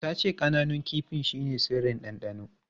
Ta ce ƙananun kifin shine sirrin dandano.